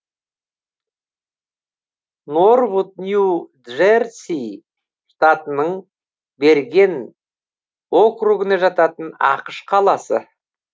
норвуд нью джерси штатының берген округіне жататын ақш қаласы